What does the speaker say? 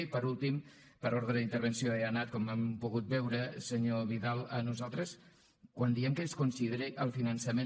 i per últim per ordre d’intervenció he anat com han pogut veure senyor vidal nosaltres quan diem que es consideri el finançament